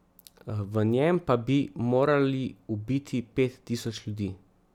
V njem pa bi morali ubiti pet tisoč ljudi.